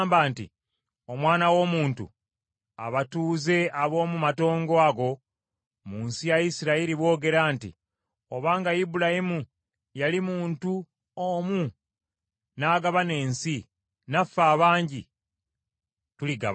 “Omwana w’omuntu, abatuuze ab’omu matongo ago mu nsi ya Isirayiri, boogera nti, ‘Obanga Ibulayimu yali muntu omu n’agabana ensi, naffe abangi, tuligabana.’